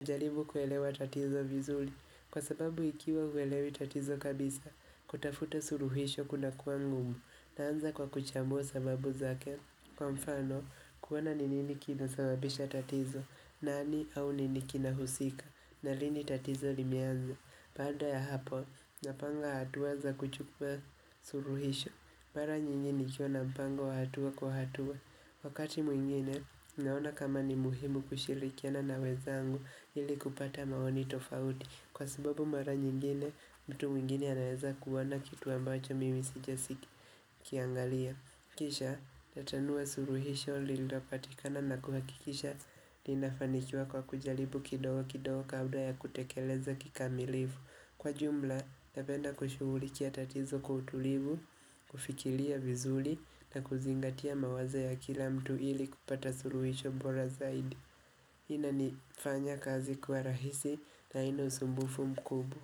najaribu kuelewa tatizo vizuri, kwa sababu ikiwa huelewi tatizo kabisa, kutafuta suluhisho kunakuwa ngumu. Naanza kwa kuchambua sababu zake, kwa mfano kuona ni nini kinasababisha tatizo, nani au nini kinahusika, na lini tatizo limeanza. Baada ya hapo, napanga hatua za kuchukua suluhisho, mara nyingi nikiwa na mpango wa hatua kwa hatua. Wakati mwingine, naona kama ni muhimu kushirikiana na wenzangu ili kupata maoni tofauti Kwa sababu mara nyingine, mtu mwingine anaeza kuona kitu ambacho mimi sijasiki kiangalia Kisha, tatanua suluhisho lililopatikana na kuhakikisha linafanikiwa kwa kujaribu kidogo kidogo kabla ya kutekeleza kikamilivu. Kwa jumla, napenda kushughulikia tatizo kwa utulivu, kufikiria vizuri na kuzingatia mawazo ya kila mtu ili kupata suluhisho bora zaidi. Hii inanifanya kazi kuwa rahisi na haina usumbufu mkubwa.